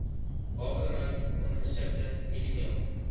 hawermout ongesifde mieliemeel